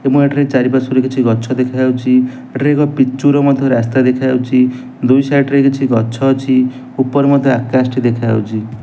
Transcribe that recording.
ଏବଂ ଏଠାରେ ଚାରିପାର୍ଶ୍ୱରେ କିଛି ଗଛ ଦେଖା ଯାଉଚି ଏଠାରେ ଏକ ପିଚୁର ମଧ୍ୟ ରାସ୍ତା ଦେଖା ଯାଉଛୁ ଦୁଇ ସାଇଡ ରେ କିଛି ଗଛ ଅଛି ଉପରେ ମଧ୍ୟ ଆକାଶ ଟି ଦେଖା ଯାଉଛି।